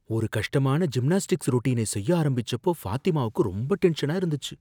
ஒரு கஷ்டமான ஜிம்னாஸ்டிக்ஸ் ரொட்டீனை செய்ய ஆரம்பிச்சப்போ ஃபாத்திமாவுக்கு ரொம்ப டென்ஷனா இருந்துச்சு.